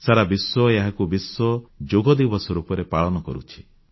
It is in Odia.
ସାରା ବିଶ୍ୱ ଏହାକୁ ବିଶ୍ୱ ଯୋଗ ଦିବସ ରୂପରେ ପାଳନ କରୁଛି